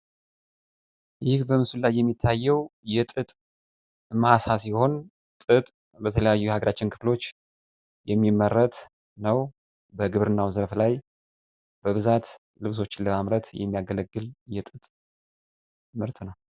ይህ በምስሉ ላይ የሚታየው የጥጥ ሲሆን ጥጥ በተለያዩ አገራችን ክፍሎች የሚመረት ነው። በግብርናው ዘርፍ ላይ በብዛት ልብሶችን ለማምረት የሚያገለግል የጥጥ ምርት ነው።